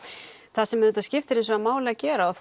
það sem skiptir hins vegar máli að gera og